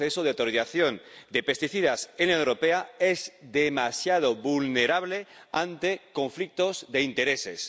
El proceso de autorización de pesticidas en la Unión Europea es demasiado vulnerable ante conflictos de intereses.